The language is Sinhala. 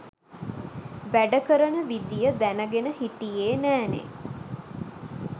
වැඩ කරන විදිය දැනගෙන හිටියේ නෑනේ.